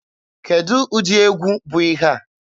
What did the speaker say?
Kedụ ụdị egwu bụ ihe a?